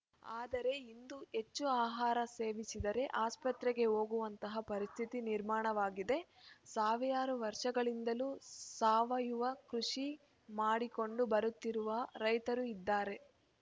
ಆದರೆ ಇಂದು ಹೆಚ್ಚು ಆಹಾರ ಸೇವಿಸಿದರೆ ಆಸ್ಪತ್ರೆಗೆ ಹೋಗುವಂತಹ ಪರಿಸ್ಥಿತಿ ನಿರ್ಮಾಣವಾಗಿದೆ ಸಾವಿರಾರು ವರ್ಷಗಳಿಂದಲೂ ಸಾವಯವ ಕೃಷಿ ಮಾಡಿಕೊಂಡು ಬರುತ್ತಿರುವ ರೈತರೂ ಇದ್ದಾರೆ